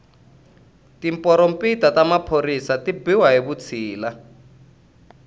tiporompita ta maphorisa ti biwa hi vutshila